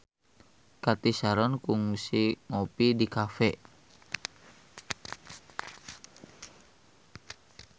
Cathy Sharon kungsi ngopi di cafe